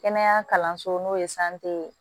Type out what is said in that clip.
Kɛnɛya kalanso n'o ye ye